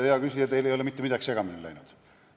Ei, hea küsija, teil ei ole mitte midagi segamini läinud.